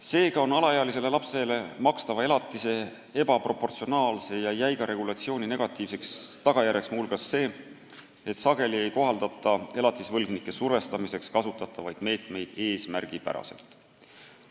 Seega on alaealisele lapsele makstava elatise ebaproportsionaalse ja jäiga regulatsiooni negatiivseks tagajärjeks muu hulgas see, et sageli ei kohaldata elatisvõlgnike survestamiseks kasutatavaid meetmeid eesmärgipäraselt.